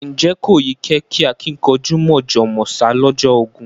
Ǹjẹ́ kò yí kẹ́ àkìnkanjú mọ̀jọ̀ mọ̀sá lọ́jọ́ ogún?